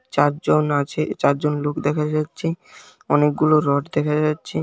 চারজন আছে চারজন লোক দেখা যাচ্ছে অনেকগুলো রড দেখা যাচ্ছে।